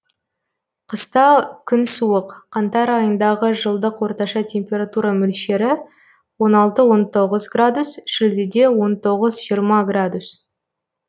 қыста күн суық қаңтар айындағы жылдық орташа температура мөлшері он алты он тоғыз градус шілдеде он тоғыз жиырма градус